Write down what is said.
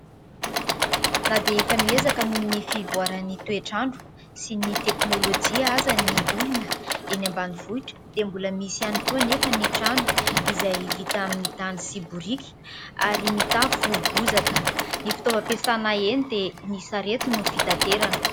Na dia efa miezaka nohon'ny fivoaran'ny toetr'andro sy ny teknolojia aza ny olona eny ambanivohitra dia mbola misy ihany koa anefa ny trano izay vita amin'ny tany sy biriky ary mitafo bozaka. Ny fitaovam-piasana eny dia ny sarety no fitanterana.